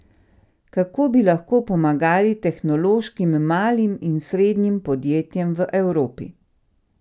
Kako bi lahko pomagali tehnološkim malim in srednjim podjetjem v Evropi?